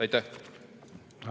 Aitäh!